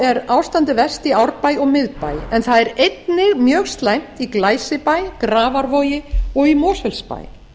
er ástandið verst í árbæ og miðbæ en það er einnig mjög slæmt í glæsibæ grafarvogi og í mosfellsbæ